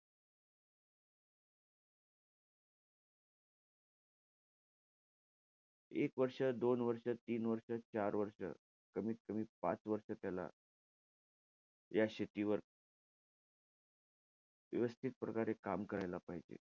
एक वर्ष, दोन वर्ष, तीन वर्ष, चार वर्ष, कमीत कमी पाच वर्ष त्याला या शेतीवर व्यवस्थितप्रक्रारे काम करायला पाहिजे.